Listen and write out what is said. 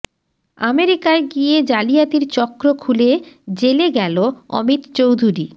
আমেরিকায় গিয়ে জালিয়াতির চক্র খুলে জেলে গেল অমিত চৌধুরী